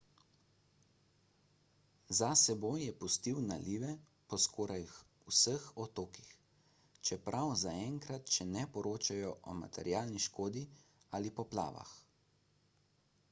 za seboj je pustil nalive po skoraj vseh otokih čeprav zaenkrat še ne poročajo o materialni škodi ali poplavah